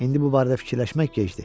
İndi bu barədə fikirləşmək gecdir.